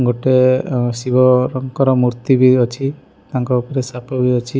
ଗୋଟେ ଅ ଶିବଙ୍କର ମୂର୍ତ୍ତି ବି ଅଛି ତାଙ୍କ ଉପରେ ସାପ ବି ଅଛି।